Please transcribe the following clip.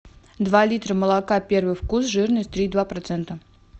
два литра молока первый вкус жирность три и два процента